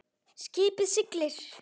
Skipið siglir.